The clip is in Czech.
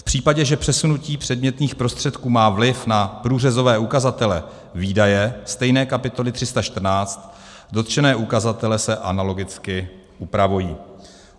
V případě, že přesunutí předmětných prostředků má vliv na průřezové ukazatele výdaje stejné kapitoly 314, dotčené ukazatele se analogicky upravují.